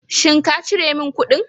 Shin ka cire min kuɗin?